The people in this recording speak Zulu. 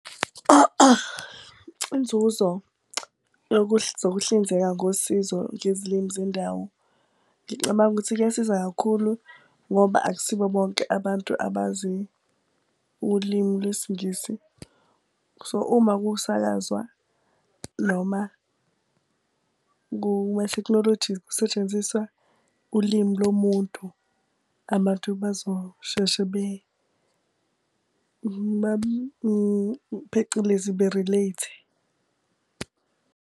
Inzuzo zokuhlinzeka ngosizo ngezilimi zendawo. Ngicabanga ukuthi kuyasiza kakhulu ngoba akusibo bonke abantu abazi ulimu lwesiNgisi. So uma ukusakazwa, noma kusetshenziswa ulimi lo muntu, abantu bezosheshe phecelezi be-relate-e.